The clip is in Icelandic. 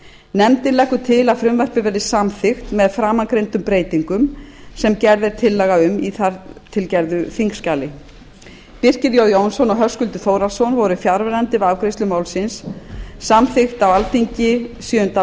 nefndin leggur til að frumvarpið verði samþykkt með framangreindum breytingum sem gerð er tillaga um í þar til gerðu þingskjali birkir j jónsson og höskuldur þórhallsson voru fjarverandi við afgreiðslu málsins samþykkt á alþingi sjöunda